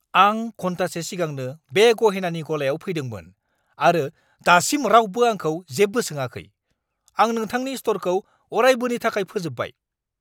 आं घन्टासे सिगांनो बे गहेनानि गलायाव फैदोंमोन आरो दासिम रावबो आंखौ जेबो सोङाखै। आं नोंथांनि स्ट'रखौ अरायबोनि थाखाय फोजोबबाय।